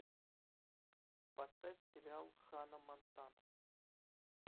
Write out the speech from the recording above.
поставь сериал ханна монтана